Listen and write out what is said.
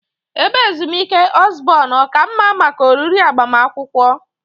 Ebe ezumike Osborn ọ ka mma maka oriri agbamakwụkwọ?